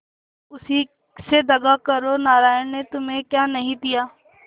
अब उसी से दगा करो नारायण ने तुम्हें क्या नहीं दिया